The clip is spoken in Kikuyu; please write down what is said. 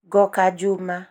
ngoka juma